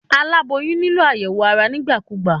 Aláboyún nílò àyẹ̀wò ara nígbà kúgbà.